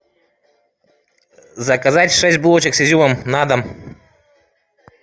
заказать шесть булочек с изюмом на дом